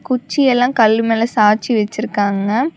குச்சி எல்லா கல்லு மேல சாச்சி வெச்சிருக்காங்க.